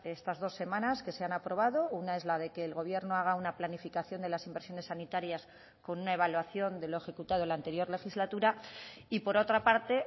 estas dos semanas que se han aprobado una es la de que el gobierno haga una planificación de las inversiones sanitarias con una evaluación de lo ejecutado en la anterior legislatura y por otra parte